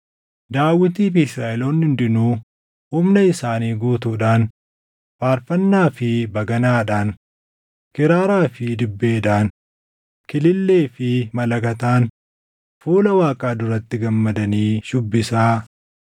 Daawitii fi Israaʼeloonni hundinuu humna isaanii guutuudhaan faarfannaa fi baganaadhaan, kiraaraa fi dibbeedhaan, kilillee fi malakataan fuula Waaqaa duratti gammadanii shuubbisaa.